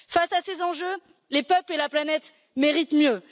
Face à ces enjeux, les peuples et la planète méritent mieux.